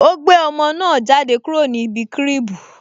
O gbé ọmọ náà jáde kúrò ní ibi cribu